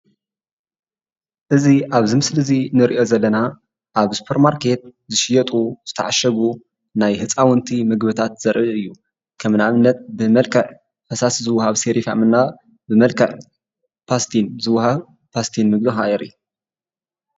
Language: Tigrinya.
እዚ አብዚ ምስሊ እዚ እንሪኦ ዘለና አብ ስፓርት ማርኬት ዝሽየጡ ዝተዓሸጉ ናይ ህፃውቲ ምግብታት ዘርኢ እዩ ከም ንአብነት ከም ብመልክዕ ፈሳሲ ዝወሃብ ሲሪፋም እና ብመልክዕ ፓስቴኒ ዝወሃብ ፓስቴን ምግቢ ከዓ የሪኢ፡፡